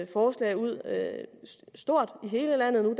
forslag ud stort i hele landet nu